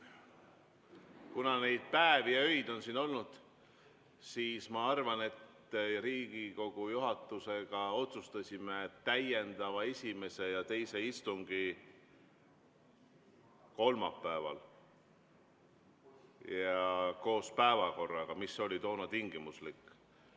Kuna neid päevi ja öid on siin üksjagu olnud, siis me otsustasime Riigikogu juhatusega esimese ja teise täiendava istungi korraldamise kolmapäeval ja päevakorra, mis oli toona tingimuslik.